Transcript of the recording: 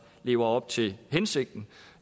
lever op til hensigten